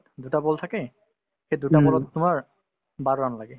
দুটা ball থাকে সেই দুটা ball ত তোমাৰ বাৰ run লাগে